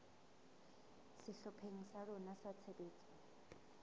sehlopheng sa rona sa tshebetso